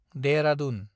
Dehradun